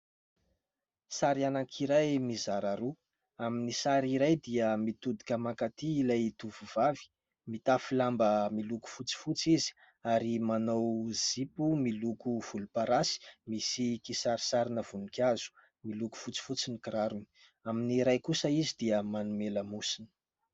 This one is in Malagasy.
Sary anankiray mizara roa ; amin'ny sary iray dia mitodika mankaty ilay tovovavy ; mitafy lamba miloko fotsifotsy izy ary manao zipo miloko volomparasy misy kisarisarina voninkazo, miloko fotsifotsy ny kirarony ; amin'ny iray kosa izy dia manome lamosina.